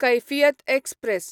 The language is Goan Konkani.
कैफियत एक्सप्रॅस